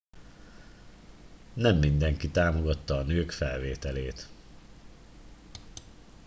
nem mindenki támogatta a nők felvételét